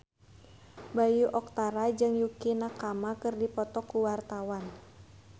Bayu Octara jeung Yukie Nakama keur dipoto ku wartawan